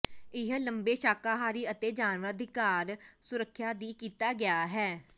ਇਹ ਲੰਬੇ ਸ਼ਾਕਾਹਾਰੀ ਅਤੇ ਜਾਨਵਰ ਅਧਿਕਾਰ ਸੁਰੱਖਿਆ ਦੀ ਕੀਤਾ ਗਿਆ ਹੈ